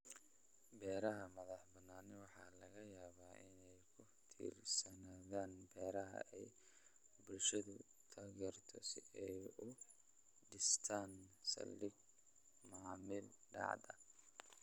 Beeraha madax-bannaani waxa laga yaabaa inay ku tiirsanaadaan beeraha ay bulshadu taageerto si ay u dhistaan ??saldhig macaamiil daacad ah.